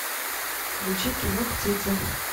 включи кино птицы